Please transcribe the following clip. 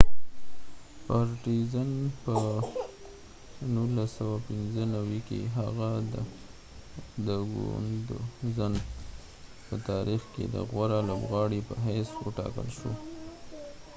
په 1995 کې هغه د ګوندزن partizan په تاریخ کې د غوره لوبغاړی په حیث و ټاکل شو